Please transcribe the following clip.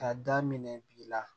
Ka daminɛ bi la